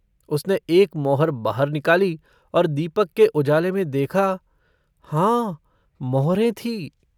उसने एक मोहर बाहर निकाली और दीपक के उजाले में देखा हाँ मोहरें थी।